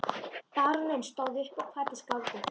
Baróninn stóð upp og kvaddi skáldið.